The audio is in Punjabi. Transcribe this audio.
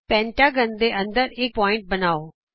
ਪੰਜਭੁਜ ਦੇ ਅੰਦਰ ਇਕ ਬਿੰਦੂ ਬਣਾਉ